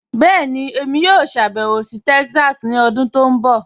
Bẹẹni, èmi yóò ṣàbẹwò sí Texas ni ọ̀dún tó nbọ̀.